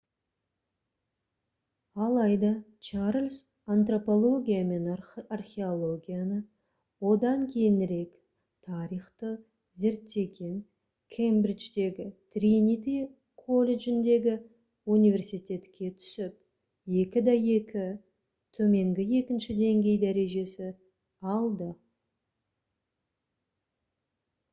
алайда чарльз антропология мен археологияны одан кейінірек тарихты зерттеген кембридждегі тринити колледжіндегі университетке түсіп 2:2 төменгі екінші деңгей дәрежесі алды